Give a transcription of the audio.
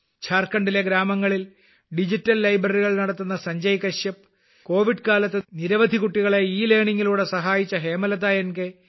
ജാർഖണ്ഡിലെ ഗ്രാമങ്ങളിൽ ഡിജിറ്റൽ ലൈബ്രറികൾ നടത്തുന്ന സഞ്ജയ് കശ്യപ് കോവിഡ് കാലത്ത് നിരവധി കുട്ടികളെ ഇലേണിംഗിലൂടെ സഹായിച്ച ഹേമലത എൻ